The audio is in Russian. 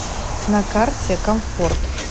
на карте комфорт